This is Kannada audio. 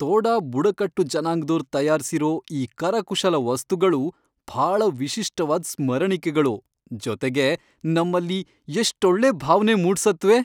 ತೋಡಾ ಬುಡಕಟ್ಟು ಜನಾಂಗ್ದೋರ್ ತಯಾರ್ಸಿರೋ ಈ ಕರಕುಶಲ ವಸ್ತುಗಳು ಭಾಳ ವಿಶಿಷ್ಟವಾದ್ ಸ್ಮರಣಿಕೆಗಳು, ಜೊತೆಗೆ ನಮ್ಮಲ್ಲಿ ಎಷ್ಟೊಳ್ಳೆ ಭಾವ್ನೆ ಮೂಡ್ಸತ್ವೆ.